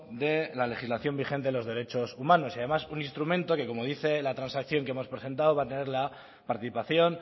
de la legislación vigente en los derechos humanos y además un instrumento que como dice la transacción que hemos presentado va a tener la participación